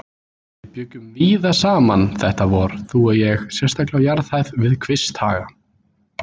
VIÐ BJUGGUM VÍÐA SAMAN þetta vor, þú og ég, sérstaklega á jarðhæð við Kvisthaga.